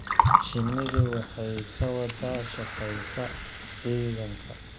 Shinnidu waxay ka wada shaqeysaa xiidanka.